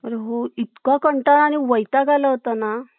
अरे हो . इतका कंटाळा आणि वैताग आला होता ना